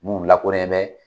Minnu lakɔnɛn bɛ